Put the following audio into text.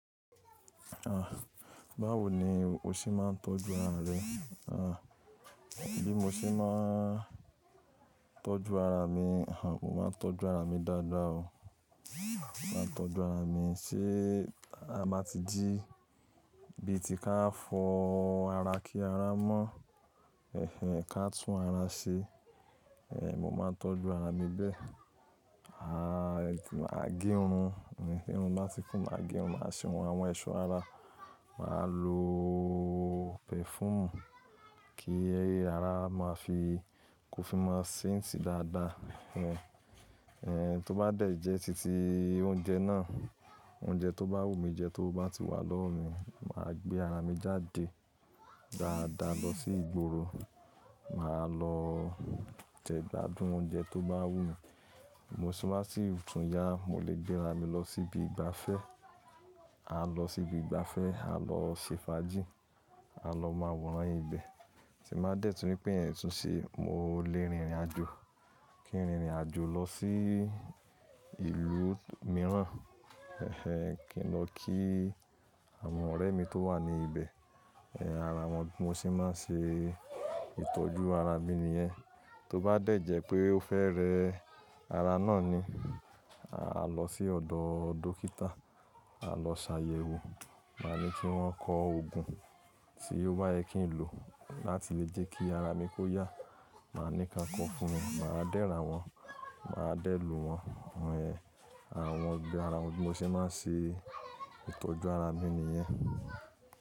À, báwo ni o ṣé máa ń tọ́jú ara rẹ? À, bí mo ṣe máa ń tọ́jú ara mi, à mo máa ń tọ́jú ara mi dáadáa o. Mo máa ń tọ́jú ara mi, ṣé a máa ti jí ibi tí ká fọ ara kí ara mọ́, ẹhẹ ká tún ara ṣe. Eh mo máa ń tọ́jú ara mi bẹ́ẹ̀. À màá gẹ irun, tirun bá ti kún, màá gẹ irun, màá ṣe ohun àwọn ẹ̀ṣọ́ ara. Màá lo pẹ̀fúùmù kí ara máa fi kò fi máa saíǹtì dáadáa. Eh tó bá dẹ̀ jẹ́ títí oúnjẹ náà, oúnjẹ tó bá wù mí jẹ tówo ba ti wà lọ́wọ́ mi, màá gbé ara mi jáde dáadáa lọ sí ìgboro. Màá lọ jẹ gbádùn oúnjẹ tó bá wù mí. To bá sí túnyà, mo lè gbé ara mi lọ síbi ìgbafẹ́. A lọ síbi ìgbafẹ́, a lọ ṣe fàájì, a lọ máa wòran ìbẹ́. Tí nbà dẹ̀ tún ripé iyen tún ṣé, mo lè rìnrìn àjò. Kí n rìnrìn àjò lọ sí ìlú mìíràn. Ẹhẹ kí n lọ kí àwọn ọ̀rẹ́ mi tó wà ní ibẹ̀. Eh ara wọn bí mo ṣe máa ń ṣe ìtọ́jú ara mí i nìyẹn. Tó bá dẹ̀ jẹ́ pé ó fẹ́ rẹ ara náà ni, a lọ sí ọ̀dọ̀ dókítà, a lọ ṣàyẹ̀wò. Máa ní kí wọ́n kọ òògùn tí ó bá yẹ kí n lò láti lè jẹ́ kí ara mi kó yà. Màá ní ká ń kọ fún mi, màá dẹ́ ra wọ́n, màá dẹ́ lo wọ́n. Ohun ẹ, àwọn gbogbo ara wọn bí mo ṣe máa ń ṣe ìtọ́jú ara bí i nìyẹn.